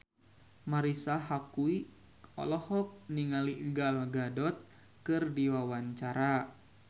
Marisa Haque olohok ningali Gal Gadot keur diwawancara